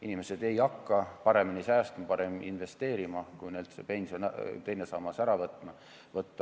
Inimesed ei hakka paremini säästma, paremini investeerima, kui neilt pensioni teine sammas ära võtta.